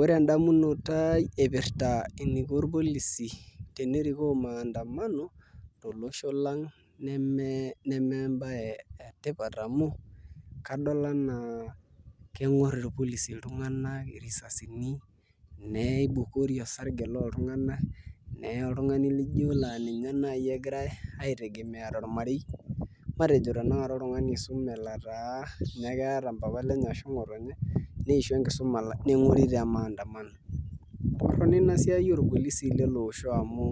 Ore endamunoto aai ipirta eniko irpolisi enerikoo maandamano tolosho lang' neme embaye etipat amu amu adol enaa keng'orr irpolisi iltung'anak irisasini neibukuri osarge lol tung'anak neye oltung'ani lijio laa ninye naai egirai aitegemea tormarei matejo tanakata laa ninye ake eeta mpapa lenye neng'ori te maandamano torrono ina siai orpolisi amu